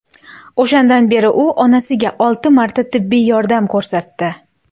O‘shandan beri u onasiga olti marta tibbiy yordam ko‘rsatdi.